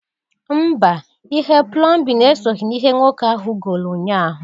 Mba! Ihe plọmbịn e soghi n'ihe nwoke ahụ goolu nyaa ahụ.